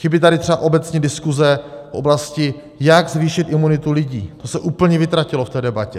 Chybí tady třeba obecně diskuze v oblasti, jak zvýšit imunitu lidí - to se úplně vytratilo v té debatě.